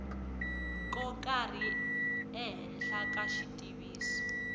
ko karhi ehenhla ka xitiviso